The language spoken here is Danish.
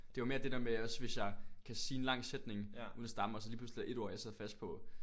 Det var mere det der med også hvis jeg kan sige en lang sætning uden at stamme og så lige pludselig er der ét ord jeg sidder fast på